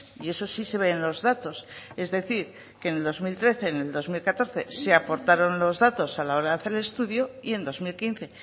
y eso sí se ve en los datos es decir que en el dos mil trece en el dos mil catorce se aportaron los datos a la hora de hacer el estudio y en dos mil quince